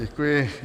Děkuji.